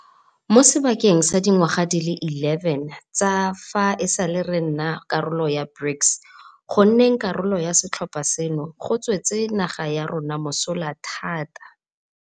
Mo sebakeng sa dingwaga di le 11 tsa fa e sale re nna karolo ya BRICS, go nneng karolo ya setlhopha seno go tswetse naga ya rona mosola thata.